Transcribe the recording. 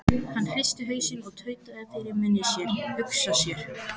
Hann hristi hausinn og tautaði fyrir munni sér: Hugsa sér.